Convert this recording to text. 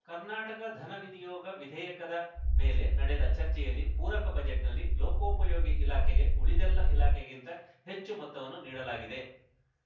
ಕರ್ನಾಟಕ ಧನ ವಿನಿಯೋಗ ವಿಧೇಯಕದ ಮೇಲೆ ನಡೆದ ಚರ್ಚೆಯಲ್ಲಿ ಪೂರಕ ಬಜೆಟ್‌ನಲ್ಲಿ ಲೋಕೋಪಯೋಗಿ ಇಲಾಖೆಗೆ ಉಳಿದೆಲ್ಲ ಇಲಾಖೆಗಿಂತ ಹೆಚ್ಚು ಮೊತ್ತವನ್ನು ನೀಡಲಾಗಿದೆ